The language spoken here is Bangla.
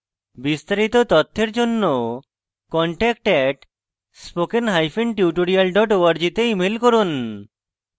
বিস্তারিত তথ্যের জন্য contact @spokentutorial org তে ইমেল করুন